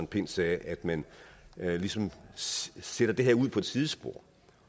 pind sagde at man ligesom sætter det her ud på et sidespor